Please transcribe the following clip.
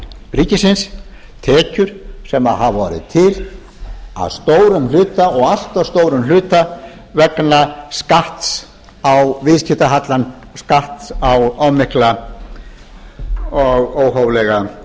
ríkisins tekjum sem hafa orðið til að stórum hluta og allt of stórum hluta vegna skatts á viðskiptahallann skatts á of mikla og óhóflega